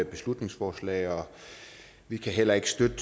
beslutningsforslag vi kan heller ikke støtte